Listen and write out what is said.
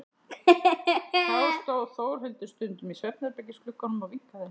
Þá stóð Þórhildur stundum í svefnherbergisglugganum og vinkaði henni.